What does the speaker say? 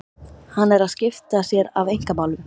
Hann er að skipta sér af einkamálum